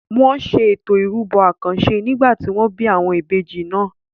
Wọn ṣe Ètò ìrúbọ àkànṣe nígbà tí wọ́n bí àwọn ìbejì náà.